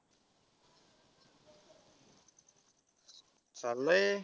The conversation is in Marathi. चाललाय.